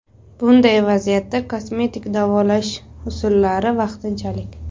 Bunday vaziyatda kosmetik davolash usullari vaqtinchalik.